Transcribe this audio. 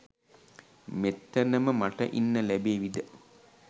මෙතනම මට ඉන්න ලැබේවිද?